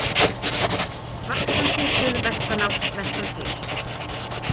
Vaxandi suðvestanátt vestantil